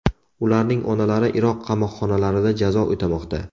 Ularning onalari Iroq qamoqxonalarida jazo o‘tamoqda.